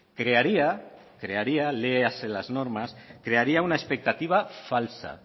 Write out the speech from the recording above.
crearía crearía léase las normas una expectativa falsa